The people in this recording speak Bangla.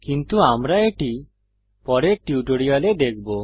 কিন্তু আমরা এটি পরের টিউটোরিয়ালে দেখব